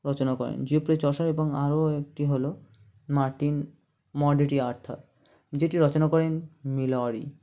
রচনা করেন যে পে চসার ও আরো একটি হলো মার্টিন মর্ট ডি আর্থার যেটি রচনা করেন মিলৌরি